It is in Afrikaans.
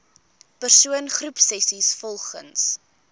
persoon groepsessies volgens